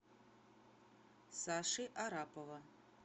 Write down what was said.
саши арапова